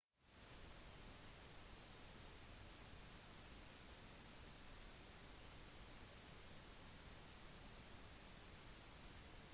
fransk valglov har ganske streng kodifisering av rettsforhandlingene